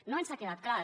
no ens ha quedat clar